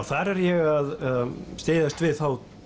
þar er ég að styðjast við